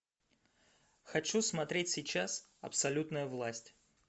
хочу смотреть сейчас абсолютная власть